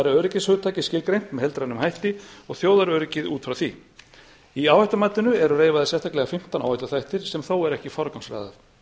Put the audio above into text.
öryggishugtakið skilgreint með heildrænum hætti og þjóðaröryggið út frá því í áhættumatinu eru reifaðir sérstaklega fimmtán áhættuþættir sem þó er ekki forgangsraðað